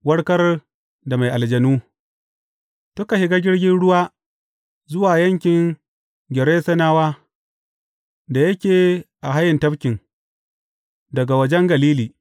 Warkar da mai aljanu Suka shiga jirgin ruwa zuwa yankin Gerasenawa da yake a hayin tafkin, daga wajen Galili.